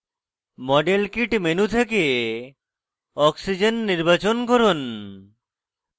model kit menu থেকে oxygen o নির্বাচন করুন